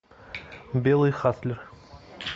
белый хатлер